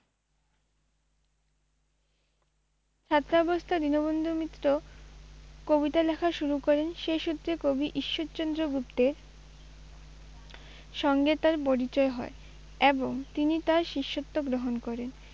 ছাত্রাবস্থায় দীনবন্ধু মিত্র কবিতা লেখা শুরু করেন, সেই সূত্রে কবি ঈশ্বরচন্দ্র গুপ্তের সঙ্গে তাঁর পরিচয় হয় এবং তিনি তাঁর শিষ্যত্ব গ্রহণ করেন।